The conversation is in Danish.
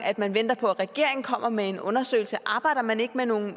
at man venter på at regeringen kommer med en undersøgelse arbejder man ikke med nogen